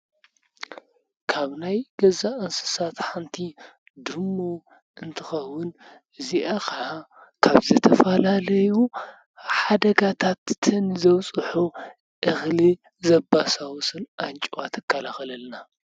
ካብ ናይ ገዛ እንሳስት ሓንቲ ድሙ እንትኸዉን እዚአ ከዓ ካብ ዝተፈላለዩ ሓደጋታት ዘብፅሑ እክሊ ዘባሳብሱን ኣንጨዋ ትከላከለልና።